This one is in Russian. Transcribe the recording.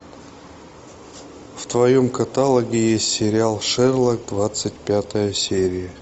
в твоем каталоге есть сериал шерлок двадцать пятая серия